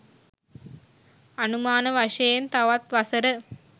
අනුමාන වශයෙන් තවත් වසර